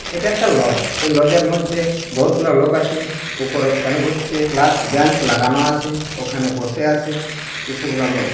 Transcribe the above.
এটা একটা লজ । এ লজ -এর মধ্য বহুতগুলো লোক আছে উপরে ফ্যান ঘুরছে। প্লাস বেঞ্চ লাগানো আছে ওখানে বসে আছে কিছুগুলা লোক।